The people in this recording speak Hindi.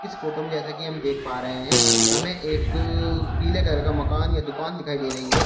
फोटो में जैसा कि हम देख पा रहे हैं हमें एक पीले कलर का मकान या दुकान दिखाई दे रही है।